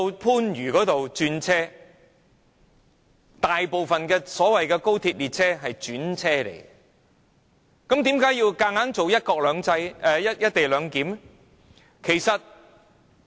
事實上，大部分的高鐵列車乘客都在番禺轉乘，為何硬要推行"一地兩檢"呢？